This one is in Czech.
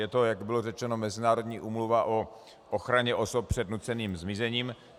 Je to, jak bylo řečeno Mezinárodní úmluva o ochraně osob před nuceným zmizením.